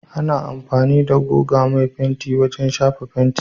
Ana amfani da goga mai fenti wajen shafa fenti.